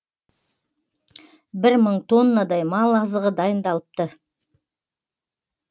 бір мың тоннадай мал азығы дайындалыпты